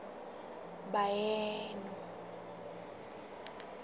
baheno